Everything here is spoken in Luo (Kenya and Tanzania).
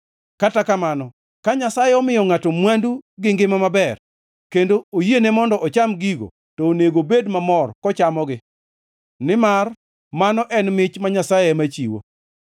Kata kamano, ka Nyasaye omiyo ngʼato mwandu gi ngima maber, kendo oyiene mondo ocham gigo to onego obed mamor kochamogi, nimar mano en mich ma Nyasaye ema chiwo.